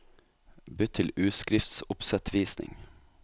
Bytt til utskriftsoppsettvisning